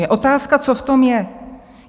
Je otázka, co v tom je.